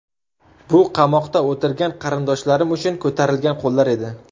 Bu qamoqda o‘tirgan qarindoshlarim uchun ko‘tarilgan qo‘llar edi.